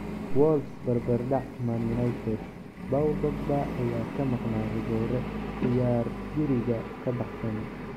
Wolves barbardac Man Utd: Paul Pogba ayaa ka maqnaa rigoore ciyaar guriga ka baxsan.